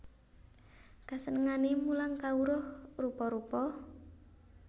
Kasenengané mulang kawruh rupa rupa